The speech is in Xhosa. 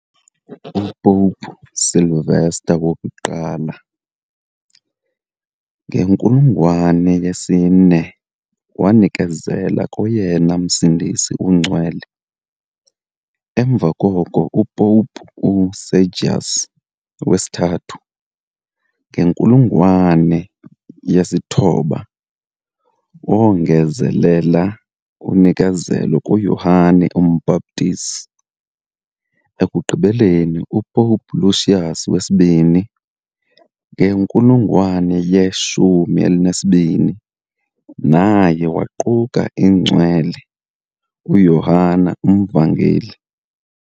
UPopu Sylvester I, ngenkulungwane yesi-4, wayinikezela koyena Msindisi uNgcwele, emva koko uPopu uSergius III, ngenkulungwane yesi-9, wongezelela unikezelo kuYohane uMbhaptizi, ekugqibeleni uPope Lucius II, ngenkulungwane ye-12, naye waquka iNgcwele uYohane uMvangeli.